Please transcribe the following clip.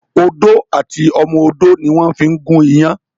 Odó àti ọmọ odó ni wón fí ń gún iyán